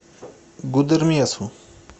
гудермесу